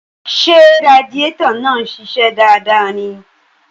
Ṣé radiétọ̀ náà ń ṣiṣẹ́ dáadáa ni?